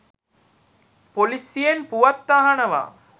පොලිසියෙන් පුවත් අහනවා.